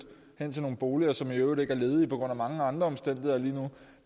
ind i nogle boliger som i øvrigt ikke er ledige på grund af mange andre omstændigheder lige nu